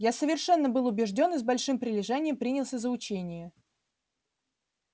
я совершенно был убеждён и с большим прилежанием принялся за учение